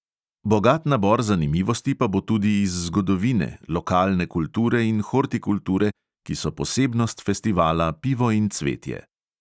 Bogat nabor zanimivosti pa bo tudi iz zgodovine, lokalne kulture in hortikulture, ki so posebnost festivala pivo in cvetje.